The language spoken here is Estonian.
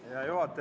Hea juhataja!